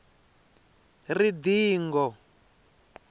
ridonga